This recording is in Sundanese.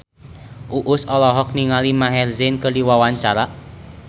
Uus olohok ningali Maher Zein keur diwawancara